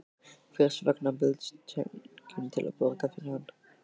Hvers vegna bauðst enginn til að borga fyrir hann?